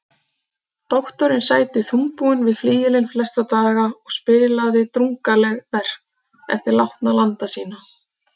Doktorinn sæti þungbúinn við flygilinn flesta daga og spilaði drungaleg verk eftir látna landa sína.